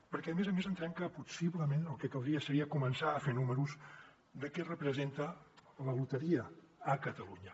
perquè a més a més entenem que possiblement el que caldria seria començar a fer números de què representa la loteria a catalunya